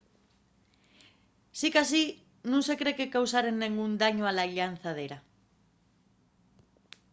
sicasí nun se cree que causaren dengún dañu a la llanzadera